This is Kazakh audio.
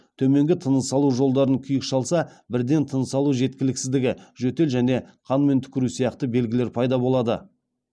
төменгі тыныс алу жолдарын күйік шалса бірден тыныс алу жеткіліксіздігі жөтел және қанмен түкіру сияқты белгілер пайда болады